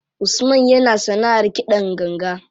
Usman yana sanaʼar kiɗan ganga.